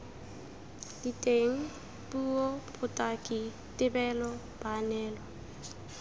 diteng puo botaki tebelo baanelwa